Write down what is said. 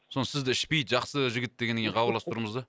соны сізді ішпейді жақсы жігіт дегеннен кейін хабарласып тұрмыз да